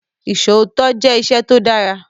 Isòótọ́ jẹ́ ìṣẹ tó dára.